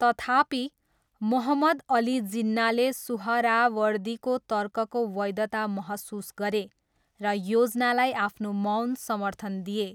तथापि, मोहम्मद अली जिन्नाले सुहरावर्दीको तर्कको वैधता महसुस गरे र योजनालाई आफ्नो मौन समर्थन दिए।